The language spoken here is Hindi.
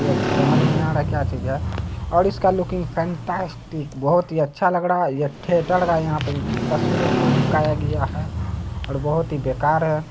यह समझ में नहीं आ रहा क्या चीज है और उसका लुकींग फैंटास्टिक बहुत ही अच्छा लग रहा है ये थिएटर का यहाँ पे तस्वीर वसवीर चिपकाया गया है और बहुत ही बेकार है।